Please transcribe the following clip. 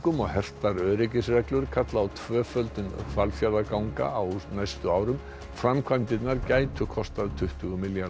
og hertar öryggisreglur kalla á tvöföldun Hvalfjarðarganga á næstu árum framkvæmdirnar gætu kostað tuttugu milljarða